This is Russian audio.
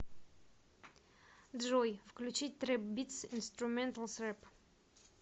джой включить трэп битс инструменталс рэп